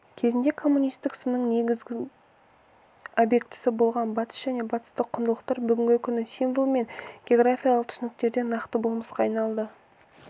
кезінде коммунистік сынның негізігі объектісі болған батыс және батыстық құндылықтар бүгінгі күні символ мен географиялық түсініктен нақты болмысқа айналды